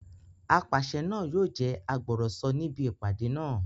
Apàṣẹ náà yóò jẹ́ agbọ̀rọ̀sọ níbi ìpàdé náà